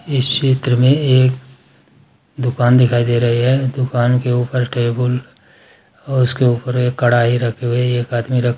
इस चित्र में एक दुकान दिखाई दे रही है दुकान के ऊपर टेबुल और उसके ऊपर एक कड़ाई रखी हुई है एक आदमी रख--